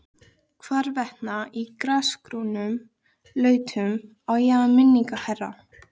Hvarvetna í grasgrónum lautum á ég minningar, herra.